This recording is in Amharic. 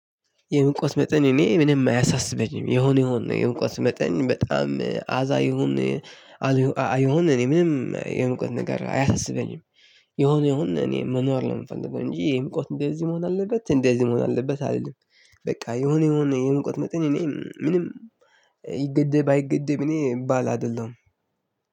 የእውቀት መጠን እኔ ምንም አያሳስበኝም የሆነው የሆነ የእውቀት መጠን በጣም አዛ የሆነ አይሆን እኔ ምንም የሙቀት ነገር አያሳስበኝም። የሆነው ይሁን እኔ መኖር ነው የምፈልገው እንጂ የምቆት እንደዚህ መሆን አለበት እንደዚህ መሆን አለበት አልልም። በቃ የሆነ የሆነ የሙቀት መጠን እኔ ምንም ይገደብ አይገደብ እኔ ባል አይደለም።